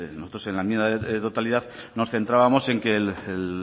nosotros en la enmienda de totalidad nos centrábamos en que el